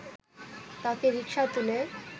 তাঁকে রিকশায় তুলে